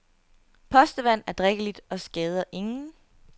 Postevand er drikkeligt og skader ingen.